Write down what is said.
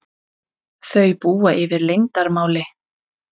Þau búa yfir leyndarmáli.